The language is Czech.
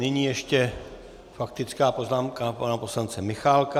Nyní ještě faktická poznámka pana poslance Michálka.